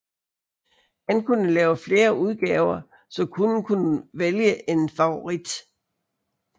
Han kunne lave flere udgaver så kunden kunne vælge en favorit